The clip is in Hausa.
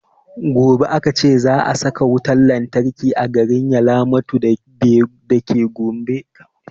Gobe aka ce za a saka wutan lantarki a garin yalamatu deba dake gombe